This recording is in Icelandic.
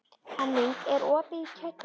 Henning, er opið í Kjötborg?